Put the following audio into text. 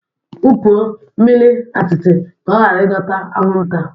Wupụo mmiri atịtị ka ọ ghara ịdọta anwụnta